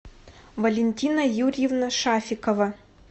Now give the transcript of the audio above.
валентина юрьевна шафикова